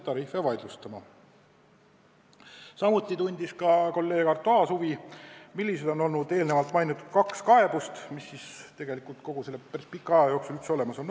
Kolleeg Arto Aas tundis huvi, mille kohta on olnud mainitud kaks kaebust, mis päris pika aja jooksul üldse esitatud on.